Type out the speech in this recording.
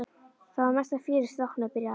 Það var mesta fjör í stráknum. byrjaði afi.